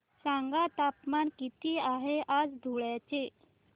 सांगा तापमान किती आहे आज धुळ्याचे